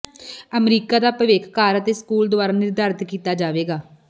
America ਦਾ ਭਵਿੱਖ ਘਰ ਅਤੇ ਸਕੂਲ ਦੁਆਰਾ ਨਿਰਧਾਰਤ ਕੀਤਾ ਜਾਵੇਗਾ